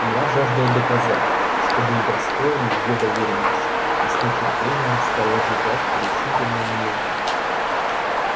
я жаждал доказать что был достоин её доверенности и с нетерпением стал ожидать решительной минуты